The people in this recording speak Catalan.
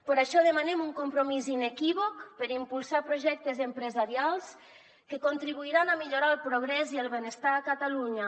per això demanem un compromís inequívoc per impulsar projectes empresarials que contribuiran a millorar el progrés i el benestar a catalunya